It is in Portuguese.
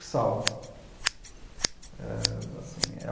é assim,